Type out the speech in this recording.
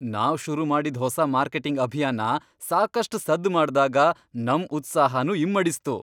ನಾವ್ ಶುರುಮಾಡಿದ್ ಹೊಸ ಮಾರ್ಕೆಟಿಂಗ್ ಅಭಿಯಾನ ಸಾಕಷ್ಟ್ ಸದ್ದ್ ಮಾಡ್ದಾಗ ನಮ್ ಉತ್ಸಾಹನೂ ಇಮ್ಮಡಿಸ್ತು.